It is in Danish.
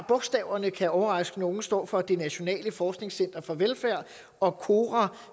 bogstaverne kan overraske nogle ved at stå for det nationale forskningscenter for velfærd og kora